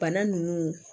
Bana nunnu